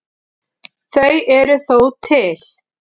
Þau eru þó til.